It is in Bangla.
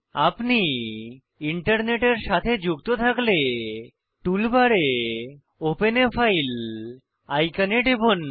আপনি ইন্টারনেটের সাথে যুক্ত থাকলে টুল বারে ওপেন a ফাইল আইকনে টিপুন